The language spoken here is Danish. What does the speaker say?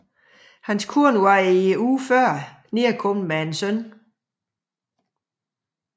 Hustruen var i ugen før nedkommet med en søn